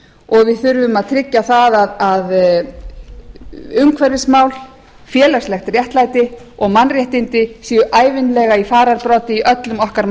og við þurfum að tryggja að umhverfismál félagslegt réttlæti og mannréttindi séu ævinlega í fararbroddi í öllum okkar